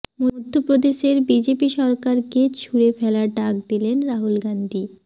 মধ্য প্রদেশের বিজেপি সরকারকে ছুঁড়ে ফেলার ডাক দিলেন রাহুল গান্ধী